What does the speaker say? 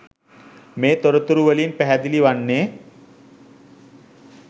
මේ තොරතුරුවලින් පැහැදිලි වන්නේ